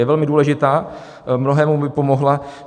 Je velmi důležitá, mnohému by pomohla.